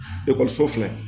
Ekɔliso filɛ